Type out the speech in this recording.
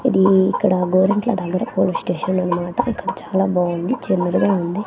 అది ఇక్కడ గోరంట్ల దగ్గర పోలీస్ స్టేషన్ అన మాట ఇక్కడ చాలా బావుంది చిన్నదిగా ఉంది.